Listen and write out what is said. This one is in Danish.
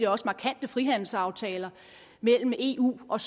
også markante frihandelsaftaler mellem eu og